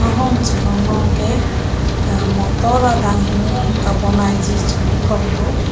Motor adang hini kabonai ji chebi kok do.